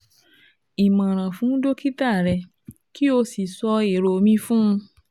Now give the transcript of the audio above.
Ìmọ̀ràn fún dókítà rẹ kó o sì sọ èrò mi fún un